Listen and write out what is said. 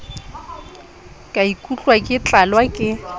ka ikutlwa ke tlalwa ke